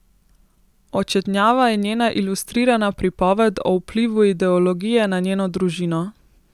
Očetnjava je njena ilustrirana pripoved o vplivu ideologije na njeno družino.